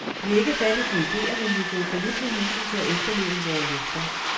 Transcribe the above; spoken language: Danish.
Vi er ikke fattige på idéer, men vi er gået fallit med hensyn til at efterleve vore løfter.